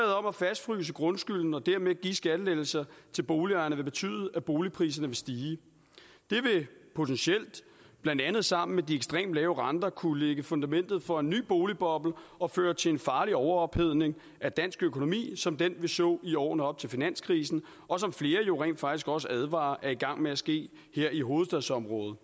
om at fastfryse grundskylden og dermed give skattelettelser til boligejerne vil betyde at boligpriserne vil stige det vil potentielt blandt andet sammen med de ekstremt lave renter kunne lægge fundamentet for en ny boligboble og føre til en farlig overophedning af dansk økonomi som den vi så i årene op til finanskrisen og som flere jo rent faktisk også advarer om er i gang med at ske her i hovedstadsområdet